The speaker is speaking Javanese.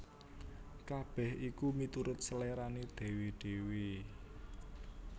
Kabèh iku miturut selérané dhéwé dhéwé